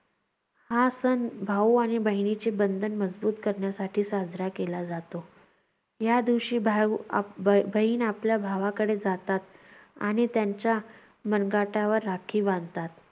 हा सण भाऊ आणि बहिणेचे बंधन मजबुत करण्यासाठी साजरा केला जातो. या दिवशी भाऊ अं ब~ बहीण आपल्या भावाकडे जातात आणि त्यांच्या मनगटावर राखी बांधतात.